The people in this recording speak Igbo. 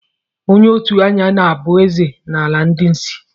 Onye òtù anya na-abụ ezé n'ala ndị ịsị.